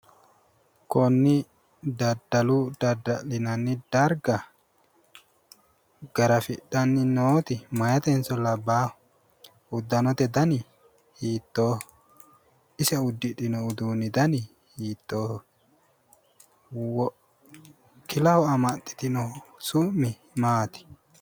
Konni daddalu dadda'lanni darga garafidhanni nooti meyatenso labbaaho? Uddanote dani hiittooho? Ise uddudhino uddano dani hiittooho? Kilaho amaxxitinohu su'mi maati?